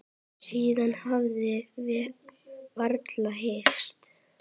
Síðan höfum við varla hist.